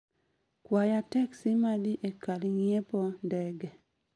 Kwaya teksi ma dhi e kar ng'iepo ndege